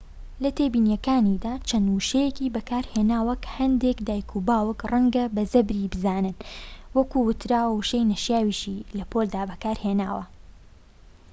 لە تێبینیەکانیدا چەند وشەیەکی بەکارهێناوە کە هەندێك دایکانوباوکان ڕەنگە بە زبری بزانن وە وەک وتراوە وشەی نەشیاویشی لە پۆلدا بەکارهێناوە